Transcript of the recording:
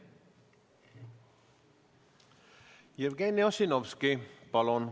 Jevgeni Ossinovski, palun!